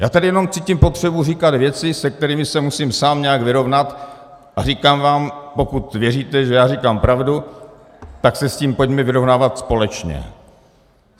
Já tady jenom cítím potřebu říkat věci, se kterými se musím sám nějak vyrovnat, a říkám vám, pokud věříte, že já říkám pravdu, tak se s tím pojďme vyrovnávat společně.